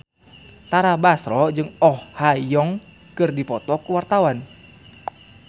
Tara Basro jeung Oh Ha Young keur dipoto ku wartawan